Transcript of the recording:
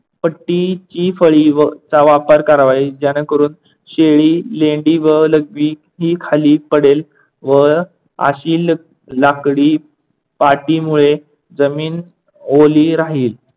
पट्टीची फळी व चा वापर करावा ज्याने करून शेळी लेंडी व लघवी ही खाली पडेल व अशी लाकडी पाटीमुळे जमीन ओली राहील.